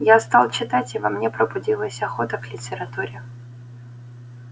я стал читать и во мне пробудилась охота к литературе